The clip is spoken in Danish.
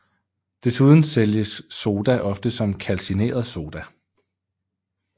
Desuden sælges soda ofte som kalcineret Soda